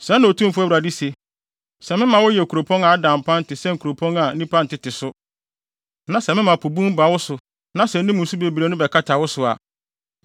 “Sɛɛ na Otumfo Awurade se: Sɛ mema woyɛ kuropɔn a ada mpan te sɛ nkuropɔn a nnipa ntete so, na sɛ mema po bun ba wo so na sɛ ne mu nsu bebrebe no bɛkata wo so a,